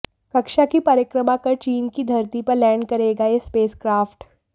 कक्षा की परिक्रमा कर चीन की धरती पर लैंड करेगा यह स्पेसक्राफ्ट